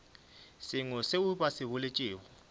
sengwe seo ba se boletšego